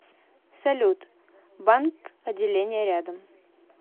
салют банк отделения рядом